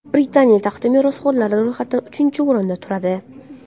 Britaniya taxti merosxo‘rlari ro‘yxatida uchinchi o‘rinda turadi.